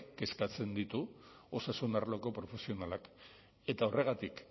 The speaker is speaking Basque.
kezkatzen ditu osasun arloko profesionalak eta horregatik